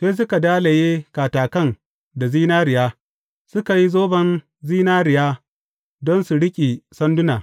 Sai suka dalaye katakan da zinariya, suka yi zoban zinariya don su riƙe sandunan.